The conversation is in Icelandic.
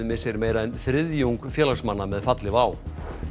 missir meira en þriðjung félagsmanna með falli WOW